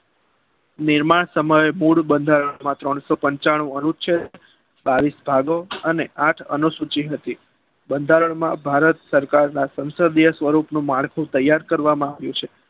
નિર્માણ સમયે મૂળ બંધારણમાં ત્રણસો પંચાણું અનુચ્છેદ બાવીસ ભાગો અને આઠ અનુસૂચિઓ હતી. બંધારણમાં ભારત સરકારના સંસદ સંસદીય સ્વરૂપનું માળખું તૈયાર કરવામાં આવ્યું છે.